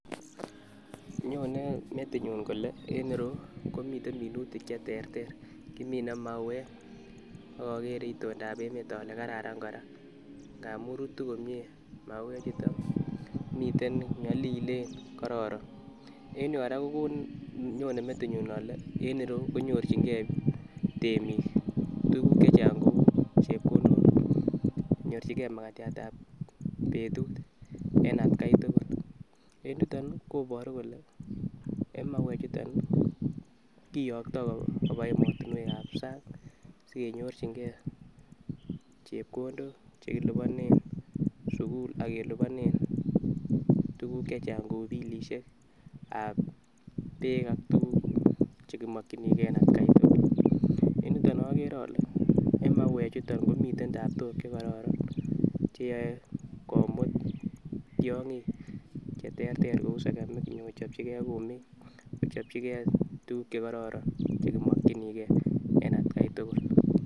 Nyone metinyun kole en reyuu komiten minutik cheterter kimine mauwek ak okere itonda emet ole karara koraa ngamun rutu komie mauwek chuton miten nyolilen kororon en yuu koraa kokonin nyone metinyun ole en ireyuu ko nyorchingee temik tukuk chechang kou chepkondok nyorchin gee makatyat ab betut en atgai tukul. En yuton nii konboru kole en mauwek chuton kiyokto koba emotinwek ab sang sikenyorchin gee chepkondok chekiliponen sukul ak keliponen tukuk chechan kou bilisheek ab beek atukuk chekimokiii gee atgai tukuk en yuton okere ole en mauwek chuton komiten taptok chekororon cheyoe komut tyogik cheterter kou sekemik nyokochopji gee kumik kochopji gee tukuk chekororon chekimokinii gee en atgai tukul.